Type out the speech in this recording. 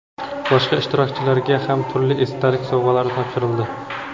boshqa ishtirokchilarga ham turli esdalik sovg‘alari topshirildi.